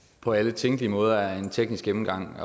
på alle tænkelige måder er en teknisk gennemgang